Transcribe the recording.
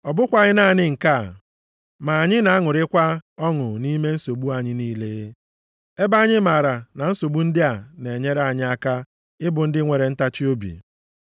Ọ bụkwaghị naanị nke a, ma anyị na-aṅụrịkwa ọṅụ nʼime nsogbu anyị niile, ebe anyị maara na nsogbu ndị a na-enyere anyị aka ịbụ ndị nwere ntachiobi.